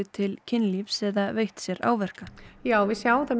til kynlífs eða veitt sér áverka við sjáum það